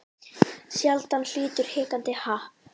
Sjaldan hlýtur hikandi happ.